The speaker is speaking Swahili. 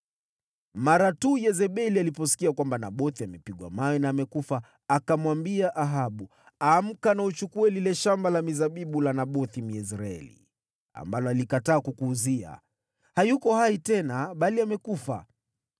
Mara tu Yezebeli aliposikia kwamba Nabothi amepigwa mawe na amekufa, akamwambia Ahabu, “Amka na uchukue lile shamba la mizabibu la Nabothi, Myezreeli, ambalo alikataa kukuuzia. Hayuko hai tena, bali amekufa.”